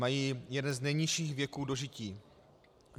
Mají jeden z nejnižších věků dožití.